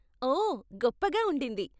ఓ, గొప్పగా ఉండింది.